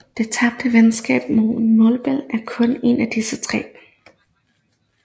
Det tabte venskab med Molbech er kun en af disse